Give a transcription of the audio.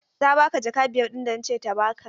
Ta ba ka jaka biyar ɗin da na ce ta ba ka?